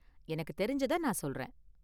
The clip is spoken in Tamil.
எனக்கு தெரிஞ்சத நான் சொல்றேன்.